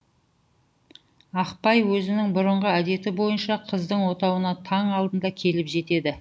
ақбай өзінің бұрынғы әдеті бойынша қыздың отауына таң алдында келіп жетеді